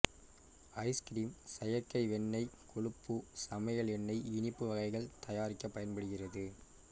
ice cream செயற்கை வெண்ணெய் கொழுப்பு சமையல் எண்ணெய் இனிப்பு வகைகள் தயாரிக்க பயன்படுகிறது